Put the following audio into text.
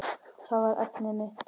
Það var efnið mitt.